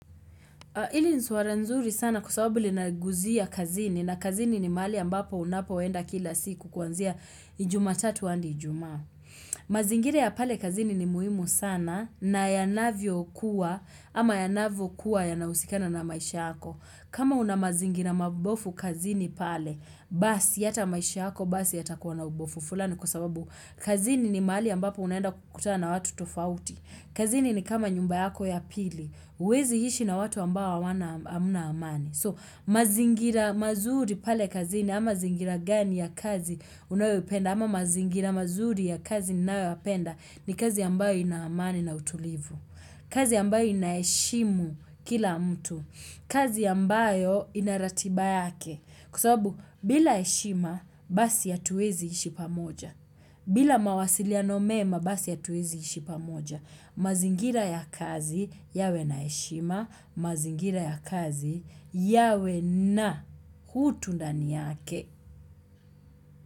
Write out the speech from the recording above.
Hili ni swara nzuri sana kwa sababu linaguzia kazini na kazini ni mahali ambapo unapo enda kila siku kuanzia juma tatu hadi ijuma. Mazingira ya pale kazini ni muhimu sana na yanavyo kuwa ama yanavyo kuwa yanahusikana na maisha hako. Kama una mazingira mabofu kazini pale, basi hata maisha hako basi yatakuwa na ubofu fulani kwa sababu kazini ni mahali ambapo unaenda kukutana na watu tofauti. Kazini ni kama nyumba yako ya pili, huwezi ishi na watu ambao hawana hamna amani. So, mazingira mazuri pale kazini, ama zingira gani ya kazi unayopenda, ama mazingira mazuri ya kazi ninayoyapenda, ni kazi ambayo ina amani na utulivu. Kazi ambayo inaheshimu kila mtu. Kazi ambayo ina ratiba yake. Kwa sababu, bila heshima, basi hatuwezi ishi pamoja. Bila mawasiliano mema, basi hatuwezi ishi pamoja. Mazingira ya kazi yawe na heshima. Mazingira ya kazi yawe na utu ndani yake.